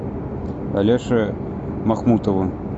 алеше махмутову